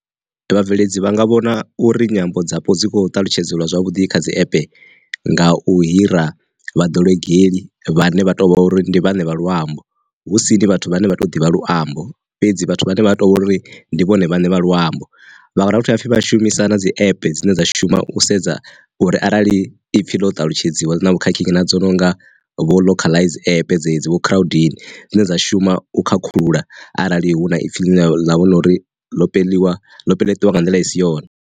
Vhabveledzi vha nga vhona uri nyambo dzapo dzi kho ṱalutshedzelwa zwavhuḓi kha dzi ape nga u hira vha ḓolegelḽi vhane vha to vha uri ndi vhane vha luambo husini vhathu vhane vha to ḓivha luambo fhedzi vhathu vhane vha to vha uri ndi vhone vhane vha luambo. Vha dovha futhi vhathu vha shumisa na dzi ape dzine dza shuma u sedza uri arali ipfhi ḽo talutshedzwa na vhukhakhi na dzo nonga vho localize ape dzedzi vho crowdini, dzine dza shuma u khakhulula arali hu na ipfhi ḽa vhona uri lo peliwa ḽo peletiwa nga nḓila i si yone.